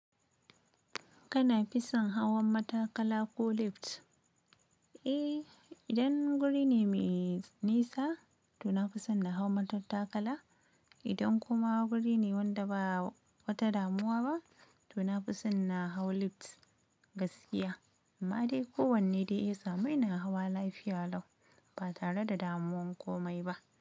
Kana fi san hawan matakala ko lifts? Eh, idan guri ne mai nisa to na fi son na hau matattakala. Idan kuma guri ne wanda ba wata damuwa ba to na fi son na hau lifts gaskiya. Amma dai ko wanne dai ya samu ina hawa lafiya lau ba tare da damuwan komai ba.